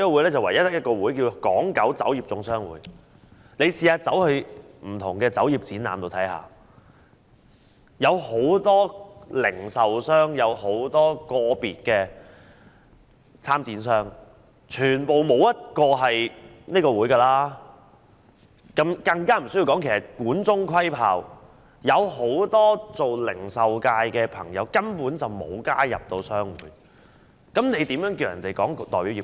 如果大家到不同的酒業展覽中看看，便會發現當中有很多零售商及個別參展商，沒有一個是屬於這個會的，情況一如管中窺豹，而且很多零售界的朋友根本沒有加入商會，那麼怎可以說是代表業界呢？